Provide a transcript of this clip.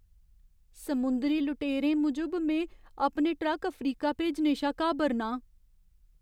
समुंदरी लुटेरें मूजब में अपने ट्रक अफ्रीका भेजने शा घाबरना आं।